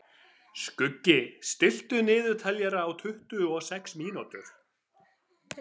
Skuggi, stilltu niðurteljara á tuttugu og sex mínútur.